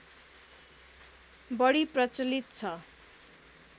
बढी प्रचलित छ